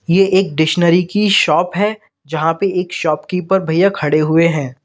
ये एक डिक्शनरी की शॉप है यहां पे एक शॉपकीपर भईया खड़े हुए हैं।